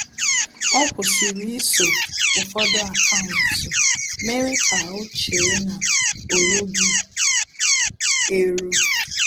Ọ́ kwụ́sị̀rị̀ iso ụ́fọ́dụ́ akaụntụ mèrè kà ọ́ chée na ọ́ rúghị́ érú.